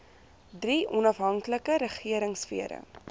drie onafhanklike regeringsfere